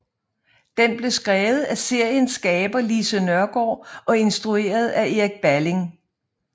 Den blev skrevet af seriens skaber Lise Nørgaard og instrueret af Erik Balling